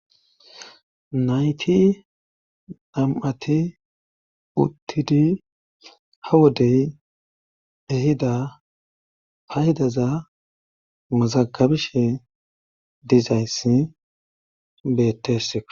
Nayti nam7ati uttidi ha wodey ehida pa hidaza mazagabishe dizayssi beettesseo